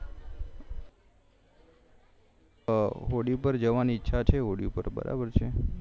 હોળી પર જવાની ઈચ્છા છે હોળી પર બરાબર છે